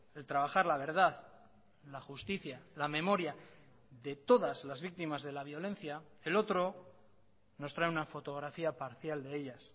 el trabajar la verdad la justicia la memoria de todas las víctimas de la violencia el otro nos trae una fotografía parcial de ellas